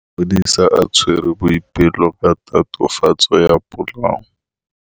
Maphodisa a tshwere Boipelo ka tatofatsô ya polaô.